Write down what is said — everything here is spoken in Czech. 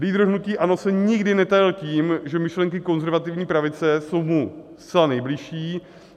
Lídr hnutí ANO se nikdy netajil tím, že myšlenky konzervativní pravice jsou mu zcela nejbližší.